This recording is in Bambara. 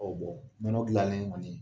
Ɔ Bɔn nɔnɔ dilanlen kɔni ye